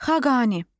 Xaqani.